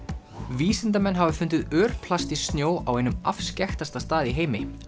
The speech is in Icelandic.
vísindamenn hafa fundið örplast í snjó á einum afskekktasta stað í heimi